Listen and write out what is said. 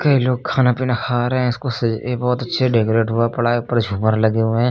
ये लोग खाना पीना खा रहे हैं इसको सही ये बहुत अच्छे डेकोरेट हुआ पड़ा है ऊपर झूमर लगे हुए हैं।